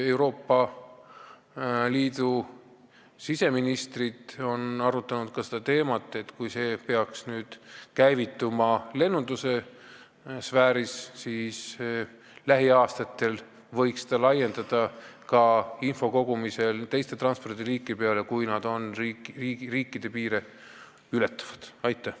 Euroopa Liidu siseministrid on arutanud ka seda teemat, et kui see süsteem peaks nüüd lennunduse sfääris käivituma, siis lähiaastatel võiks sellist infokogumist laiendada ka teistele riikide piire ületavatele transpordiliikidele.